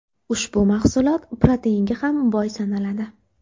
Ushbu mahsulot proteinga ham boy sanaladi.